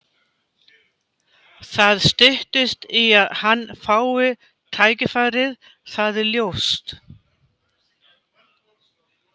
Það styttist í að hann fái tækifærið, það er ljóst.